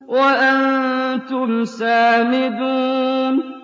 وَأَنتُمْ سَامِدُونَ